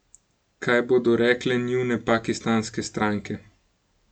Kaj bodo rekle njune pakistanske stranke?